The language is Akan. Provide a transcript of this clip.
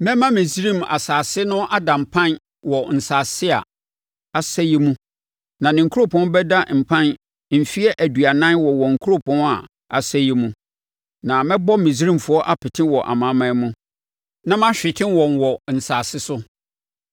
Mɛma Misraim asase no ada mpan wɔ nsase a asɛeɛ mu na ne nkuropɔn bɛda mpan mfeɛ aduanan wɔ wɔn nkuropɔn a asɛeɛ mu. Na mɛbɔ Misraimfoɔ apete wɔ amanaman mu, na mahwete wɔn wɔ nsase so.